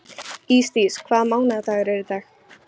Ísdís, hvaða mánaðardagur er í dag?